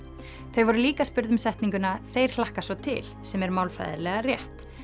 þau voru líka spurð um setninguna þeir hlakka svo til sem er málfræðilega rétt